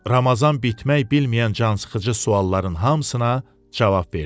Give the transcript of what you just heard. Ramazan bitmək bilməyən cansıxıcı sualların hamısına cavab verdi.